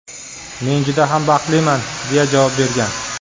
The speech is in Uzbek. Men juda ham baxtliman”, deya javob bergan.